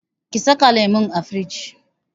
Ki saka lemun a firij!